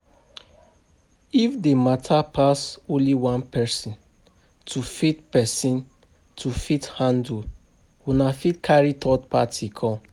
If di matter pass only one person to fit person, to fit handle, una fit carry third party come